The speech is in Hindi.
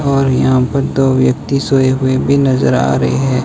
और यहां पर दो व्यक्ति सोए हुए भी नजर आ रहे हैं।